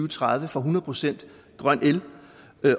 tredive får hundrede procent grøn el